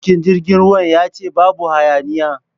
Matukin jirgin ya ce babu hayaniya!